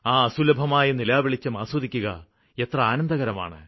ആ അസുലഭമായ നിലാവെളിച്ചം ആസ്വദിക്കുക എത്ര ആനന്ദകരമാണ്